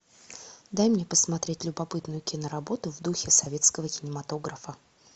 дай мне посмотреть любопытную киноработу в духе советского кинематографа